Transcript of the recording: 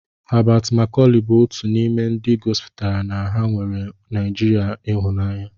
Habat Makọlị bụ otu n'ime ndị gosipụtara na ha nweere Naịjirịa ịhụnanya.